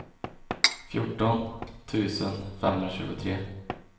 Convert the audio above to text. fjorton tusen femhundratjugotre